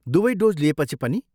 दुवै डोज लिएपछि पनि?